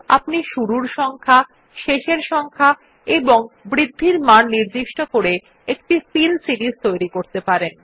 আপনি শুরুর সংখ্যা শেষ সংখ্যা এবং বৃদ্ধির মান নির্দিষ্ট করে একটি ফিল সিরিস তৈরী করতে পারেন